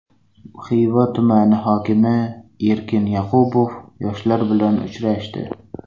Xiva tumani hokimi Erkin Yoqubov yoshlar bilan uchrashdi.